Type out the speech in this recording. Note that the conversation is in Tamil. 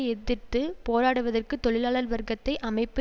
எதிர்த்து போராடுவதற்கு தொழிலாளர் வர்க்கத்தை அமைப்பு